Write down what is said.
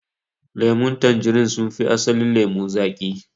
Lemun tanjarin sun fi asalin lemo zaƙi.